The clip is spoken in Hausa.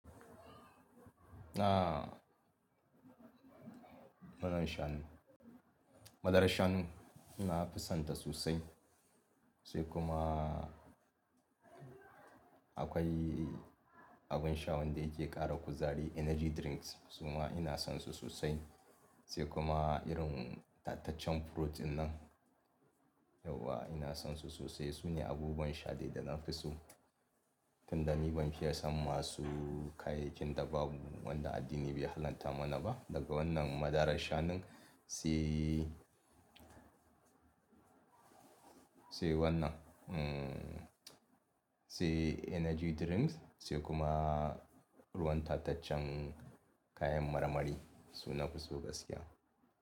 Aaa, muna shan, madarar shanu na fisanta sosai. Sai kuma akwai abin sha wanda yake ƙara kuzari energy drinks suma ina son su sosai. Sai kuma irin tattacen furotin nan yauwa ina son su sosai. Sune abubuwan sha dai da na fi su. Tunda ni ban fiye san masu kayakin da babu wanda addini bai halatta mana ba daga wannan madarar shanun, sai, sai wannan, mm, sai energy drinks sai kuma ruwan tattacen kayan marmari su na fi so gaskiya.